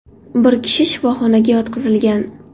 Bir kishi shifoxonaga yotqizilgan.